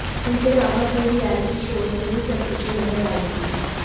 इनके अलावा कई रिएलिटी शोज में भी प्रत्युषा नजर आईं थीं